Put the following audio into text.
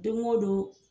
Don o don